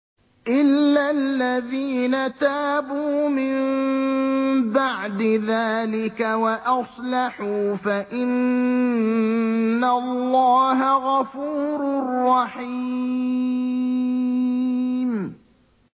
إِلَّا الَّذِينَ تَابُوا مِن بَعْدِ ذَٰلِكَ وَأَصْلَحُوا فَإِنَّ اللَّهَ غَفُورٌ رَّحِيمٌ